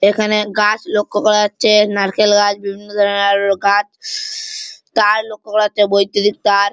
এখানে গাছ লক্ষ্য করা যাচ্ছে নারকেল গাছ বিভিন্ন ধরনের গাছ তার লক্ষ্য করা যাচ্ছে বৈদ্যুতিক তার।